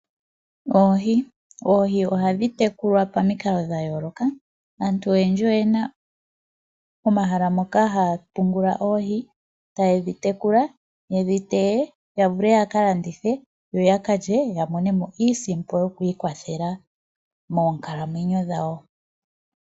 Oohi, oohi ohadhi tekulwa pamikalo dhayooloka, aantu oyena omahala moka haya pungula oohi eta yedhi tekula yedhi teye yavule ya ka lye yo ya ka landithe yamone mo iisimpo yokwikwathela moonkalamwenyo dhawo.